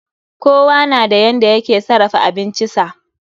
Kowa nada yanda yake sarafa abincisa